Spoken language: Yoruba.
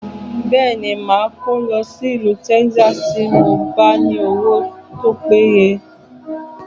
Bẹẹni, ma kó lọ sí ìlú Texas tí mo bá ní owó tó péye